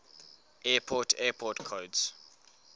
airport airport codes